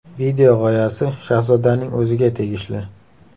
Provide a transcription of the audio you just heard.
Video g‘oyasi Shahzodaning o‘ziga tegishli.